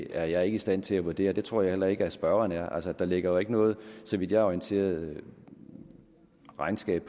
er jeg ikke i stand til at vurdere og det tror jeg heller ikke at spørgeren er altså der ligger jo ikke noget så vidt jeg er orienteret regnskab